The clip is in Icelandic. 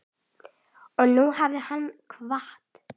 Og nú hefur hann kvatt.